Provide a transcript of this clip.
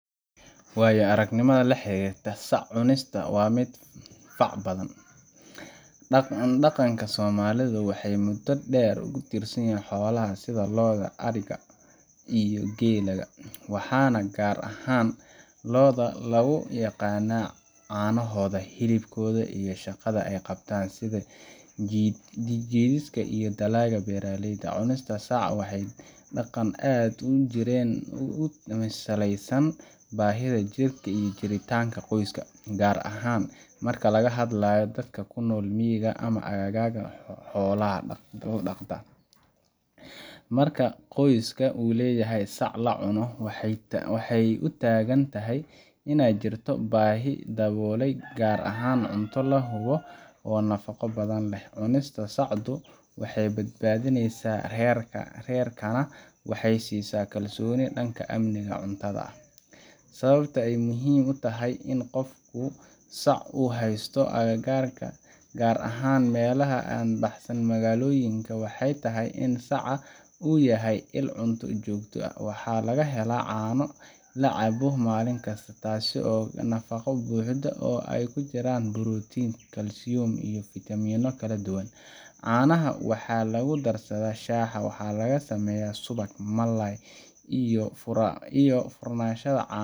Waayo-aragnimada la xiriirta sac cunista waa mid fac badan, dhaqanka Soomaalidu wuxuu muddo dheer ku tiirsanaa xoolaha sida lo’da, adhiga iyo geela, waxaana gaar ahaan lo’da lagu yaqaan caanahooda, hilibkooda iyo shaqada ay qabtaan sida wax jiidista iyo dalagga beeralayda. Cunista sac waa dhaqan aad u soo jireen ah oo ku saleysan baahida jirka iyo jiritaanka qoyska, gaar ahaan marka laga hadlayo dadka ku nool miyiga ama aagga xoolaha dhaqda. Marka qoyska uu leeyahay sac la cuno, waxay u taagan tahay in ay jirto baahi la daboolay, gaar ahaan cunto la hubo in ay nafaqo badan leedahay. Cunista sacdu waxay badbaadineysaa reerkana waxay siisaa kalsooni dhanka amniga cuntada ah. Sababta ay muhiim u tahay in qofku sac ku haysto aaggaga, gaar ahaan meelaha ka baxsan magaalooyinka, waxay tahay in saca uu yahay il cunto joogto ah. Waxaa laga helaa caano la cabo maalin kasta, taas oo ah nafaqo buuxda oo ay ku jiraan borotiinno, kalsiyum iyo fitamiinno kala duwan. Caanaha waxaa lagu darsadaa shaaha, waxaa laga sameeyaa subag, malaay iyo furunshaha caanaha .